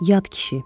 Yad kişi.